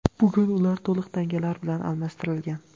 Bugun ular to‘liq tangalar bilan almashtirilgan.